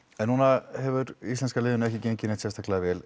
núna hefur íslenska liðinu ekki gengið neitt sérstaklega vel